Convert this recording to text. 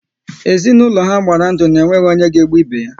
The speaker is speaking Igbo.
Ezinaụlọ ha gbara ndụ na ọ nweghị onye ga-egbu ibe ya